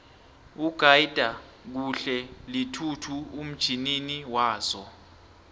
ugyda kuhle linhluthu umtjnini wazo